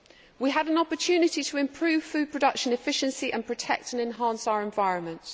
We have an opportunity to improve food production efficiency and protect and enhance our environment.